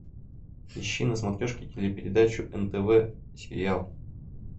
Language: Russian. ищи на смотрешке телепередачу нтв сериал